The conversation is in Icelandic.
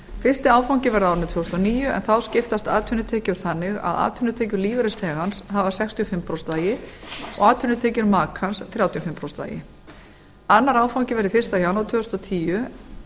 fyrsti áfangi verður á árinu tvö þúsund og níu en þá skiptast atvinnutekjur þannig að atvinnutekjur lífeyrisþegans hafa sextíu og fimm prósent vægi og atvinnutekjur makans þrjátíu og fimm prósent vægi annar áfangi verði eitt janúar tvö þúsund og tíu